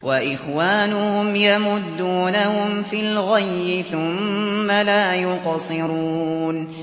وَإِخْوَانُهُمْ يَمُدُّونَهُمْ فِي الْغَيِّ ثُمَّ لَا يُقْصِرُونَ